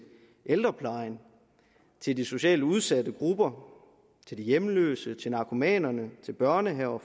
ældreplejen til de socialt udsatte grupper til de hjemløse til narkomanerne til børnehaver